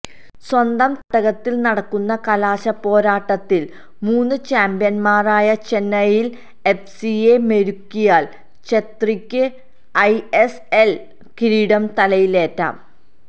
സ്വന്തം തട്ടകത്തില് നടക്കുന്ന കലാശപ്പോരാട്ടത്തില് മുന് ചാമ്പ്യന്മാരായ ചെന്നൈയിന് എഫ്സിയെ മെരുക്കിയാല് ഛേത്രിക്ക് ഐഎസ്എല് കിരീടം തലയിലേറ്റാം